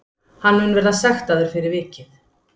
Hann mun verða sektaður fyrir vikið